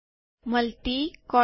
multi column